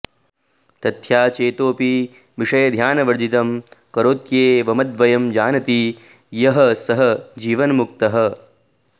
तथ्हा चेतोऽपि विषयध्यानवर्जितं करोत्येवमद्वयं जानाति यः सः जीवन्मुक्तः